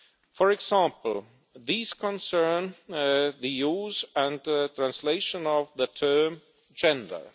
For example, these concern the use and translation of the term gender'.